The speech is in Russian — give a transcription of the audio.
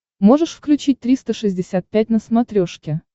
можешь включить триста шестьдесят пять на смотрешке